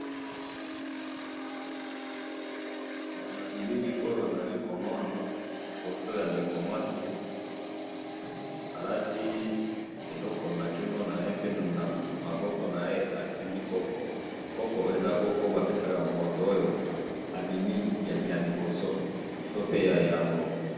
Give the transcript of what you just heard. na bilili oyo nazali komona foto ya ndeko ya mwasi alati eloko na kingo naye pe na maboko naye asimbi copo copo oyo eza oyo ba pesaka mutu soki abimi ya liboso to pe yambo.